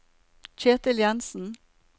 Ketil Jenssen